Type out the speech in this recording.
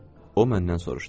O məndən soruşdu.